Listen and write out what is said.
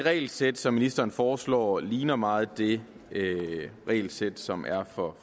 regelsæt som ministeren foreslår ligner meget det regelsæt som er for